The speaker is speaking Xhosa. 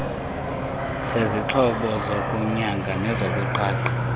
sezixhobo zokunyanga nezokuqhaqha